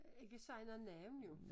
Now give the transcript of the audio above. Ikke sig noget navn jo